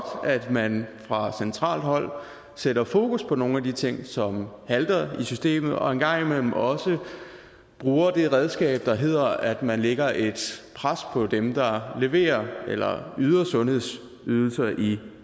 at man fra centralt hold sætter fokus på nogle af de ting som halter i systemet og en gang imellem også bruger det redskab der hedder at man lægger et pres på dem der leverer eller yder sundhedsydelser i